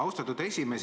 Austatud esimees!